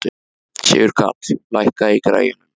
Sigurkarl, lækkaðu í græjunum.